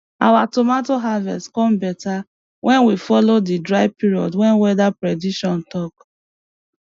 our tomato harvest come beta when we follow di dry period wey weather prediction talk